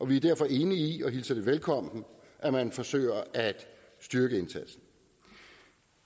vi derfor er enige i og hilser velkommen at man forsøger at styrke indsatsen